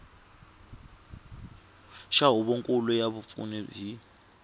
xa huvonkulu ya vapfuni hi